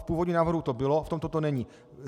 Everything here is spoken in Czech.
V původním návrhu to bylo, v tomto to není.